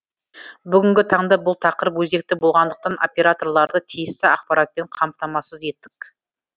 бүгінгі таңда бұл тақырып өзекті болғандықтан операторларды тиісті ақпаратпен қамтамасыз еттік